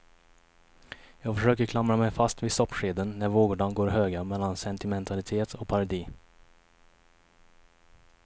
Jag försöker klamra mig fast vid soppskeden när vågorna går höga mellan sentimentalitet och parodi.